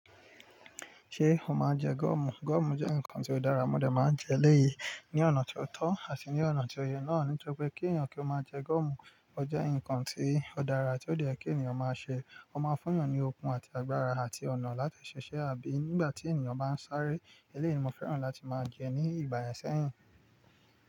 Ṣé o máa ń jẹ gúọ̀mù? Gúọ̀mù jẹ́ ǹkan tó dára, mo dà máa ń jẹ lẹ́yìn, ní ọ̀nà ti otọ́ àti ní ọ̀nà tó yẹ náà. Nítorí pé kí ènìyàn kí ó máa jẹ gúọ̀mù, ó jẹ́ ǹkan ti o dára tí ó de yẹ kí ènìyàn máa ṣe. Ó máa fún ènìyàn ní okun àti agbára àti ọ̀nà láti ṣiṣẹ́ àbí nígbà tí ènìyàn bá ń sáré eléyìí ni mo fẹ́ràn láti máa jẹ ní ìgbà yen sẹ́yìn.